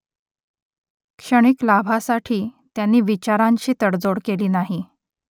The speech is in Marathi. क्षणिक लाभासाठी त्यांनी विचारांशी तडजोड केली नाही